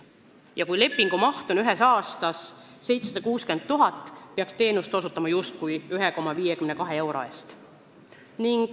Ja kui ühe aasta lepingumaht on 760 000, siis peaks teenust osutama justkui 1,52 euro eest.